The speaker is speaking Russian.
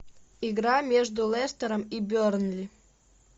игра между лестером и бернли